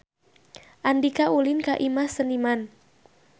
Andika ulin ka Imah Seniman